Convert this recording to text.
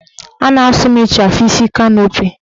A na-asụ m ịchafụ isi kanopi